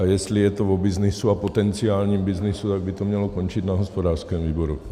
A jestli je to o byznysu a potenciálním byznysu, tak by to mělo končit na hospodářském výboru.